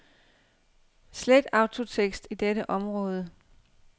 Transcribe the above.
Slet autotekst i dette område.